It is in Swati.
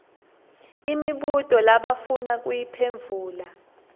imibuto labafuna kuyiphendvula